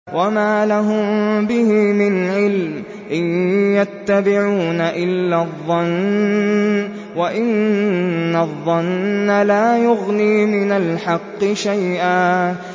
وَمَا لَهُم بِهِ مِنْ عِلْمٍ ۖ إِن يَتَّبِعُونَ إِلَّا الظَّنَّ ۖ وَإِنَّ الظَّنَّ لَا يُغْنِي مِنَ الْحَقِّ شَيْئًا